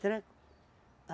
Tranco.